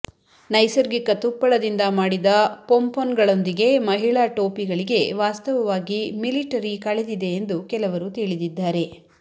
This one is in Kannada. ನೈಸರ್ಗಿಕ ತುಪ್ಪಳದಿಂದ ಮಾಡಿದ ಪೊಂಪೊನ್ಗಳೊಂದಿಗೆ ಮಹಿಳಾ ಟೋಪಿಗಳಿಗೆ ವಾಸ್ತವವಾಗಿ ಮಿಲಿಟರಿ ಕಳೆದಿದೆ ಎಂದು ಕೆಲವರು ತಿಳಿದಿದ್ದಾರೆ